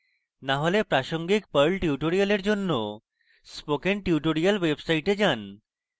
না হলে প্রাসঙ্গিক perl tutorials জন্য spoken tutorials website যান